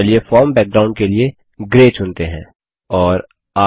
चलिए फॉर्म बैकग्राउंडपृष्ठभूमि के लिए ग्रे चुनते हैं